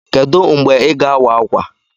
Kedụ mgbe Ị ga-awa ákwà?